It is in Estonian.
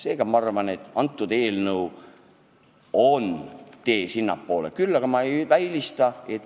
Ma arvan, et tänane eelnõu on õige tee eesmärgi poole.